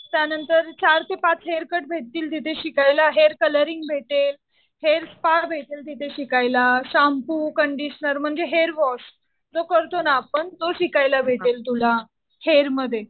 त्यानंतर चार ते पाच हेअर कट भेटतील तिथे शिकायला. हेअर कलरिंग भेटेल. हेअर स्पा भेटेल तिथे शिकायला. शांपू, कंडीशनर म्हणजे हेअर वॉश जो करतो ना आपण तो शिकायला भेटेल तुला हेअर मध्ये.